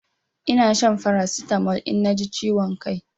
Ina shan Farasitamol in na ji ciwon kai